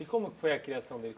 E como foi a criação dele?